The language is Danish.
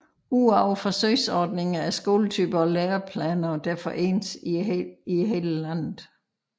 Udover forsøgsordninger er skoletyper og læreplaner derfor ens i hele landet